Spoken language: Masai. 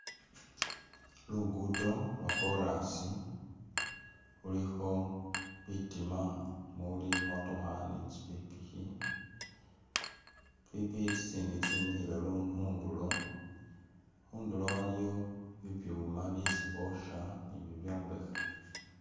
Lugudo lwo chorus khulikho bitima muli imotookha ni tsipikipiki ,tsipikipiki tsitsindi tsyemikhile lu khundulo ,khundulo waliwo bibyuma byesi bosha ni bibyombekhe